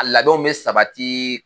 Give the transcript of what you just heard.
A labɛnw bɛ sabati